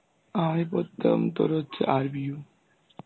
আমি পড়তাম তোর হচ্ছে RBU.